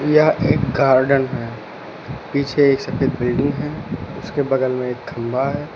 यह एक गार्डन है पीछे एक सफेद बिल्डिंग है उसके बगल में एक खंभा है।